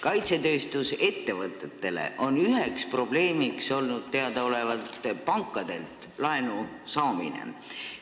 Teadaolevalt on kaitsetööstusettevõtetele üheks probleemiks olnud pankadelt laenu saamine.